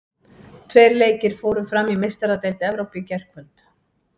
Tveir leikir fóru fram í Meistaradeild Evrópu í gærkvöld.